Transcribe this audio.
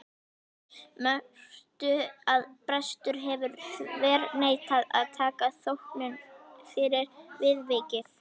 Mörtu að prestur hefði þverneitað að taka þóknun fyrir viðvikið.